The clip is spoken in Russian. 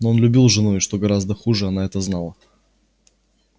но он любил жену и что гораздо хуже она это знала